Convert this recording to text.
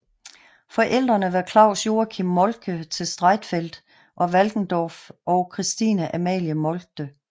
Forældrene var Claus Joachim Moltke til Streitfeld og Walkendorf og Christine Amalie Moltke